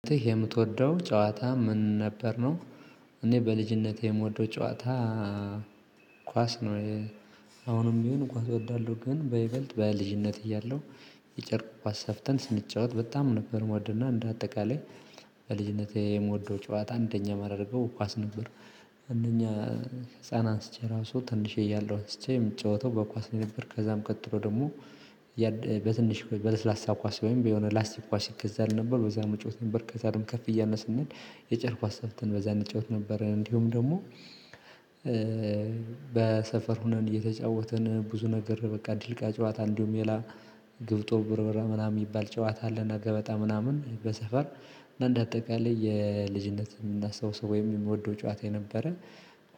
የምትወደው ጨዋታ ምን ነበር ነው? እኔ በልጅነቴ የምወደው ጨዋታ ኳስ ነው። አሁንም ቢሆን ኳስ እወዳለሁ ግን በይበልጥ በልጅነት እያለሁ የጨርቅ ኳስ ሰፍተን ስንጫወት በጣም ነበር ምወድና እንደ አጠቃላይ ከልጅነቴ የምወደው ጨዋታ አንደኛ የማደርገው ኳስ ነበር። አንደኛ ህፃናት አንስቼ ራሱ ትንሽዬ እያለሁ ስቼ የምጫወተው በኳስ ነበር ከዛም ቀጥሎ ደግሞ በትንሽ በለስላሳ ኳስ ወይም በላስቲክ ኳስ ይገዛል ነበር በዛ መጫወት ነበር። ከዛ ደግሞ ከፍ እያልነ ስንሄድ የጨቅ ኳስ ሰፍተን በዛ እንጫወት ነበረ። እንዲሁም ደግሞ በሰፈር ሁነን እየተጫወትን ብዙ ነገር በቃ ድልቃ ጨዋታ እንዲሁም ሌላ ግብጦ ብርብር ምናምን የሚባል ጨዋታ አለና ገበጣ ምናምን በሰፈር እንደ አጠቃላይ የልጅነትን እናስታውሰው ወይም የምወደው ጨዋታ የነበረ።